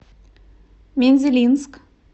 мензелинск